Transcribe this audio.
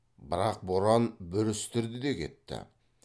бірақ боран бүрістірді де кетті